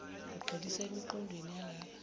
kugxilisa emiqondweni yalaba